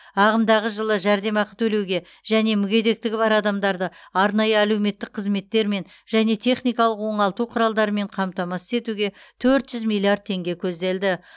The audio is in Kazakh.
ағымдағы жылы жәрдемақы төлеуге және мүгедектігі бар адамдарды арнайы әлеуметтік қызметтермен және техникалық оңалту құралдарымен қамтамасыз етуге төрт жүз миллиард теңге көзделді